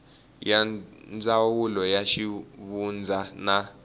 ya ndzawulo ya xivundza na